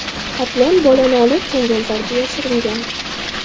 Qoplon bolani olib, changalzorga yashiringan.